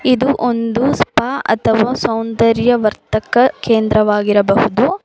ಇದು ಒಂದು ಸ್ಪಾ ಅಥವಾ ಸೌಂದರ್ಯ ವರ್ತಕ ಕೇಂದ್ರವಾಗಿರಬಹುದು.